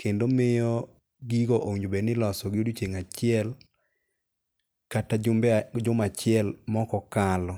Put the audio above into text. kendo miyo gigo owinjo bed iloso gi odiochieng' achiel kata juma achiel ma ok okalo.